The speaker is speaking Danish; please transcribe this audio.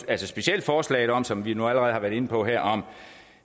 at specielt forslaget om som vi nu allerede har været inde på her